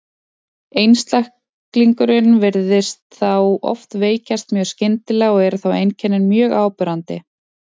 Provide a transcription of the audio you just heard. Einstaklingurinn virðist þá oft veikjast mjög skyndilega og eru þá einkennin mjög áberandi.